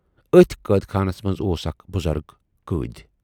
ٲتھۍ قٲدخانس منز اوس اکھ بُزرگ قۭدۍ۔